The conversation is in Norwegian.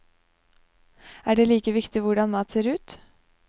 Er det like viktig hvordan mat ser ut?